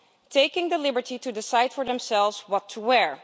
Taking the liberty to decide for themselves what to wear.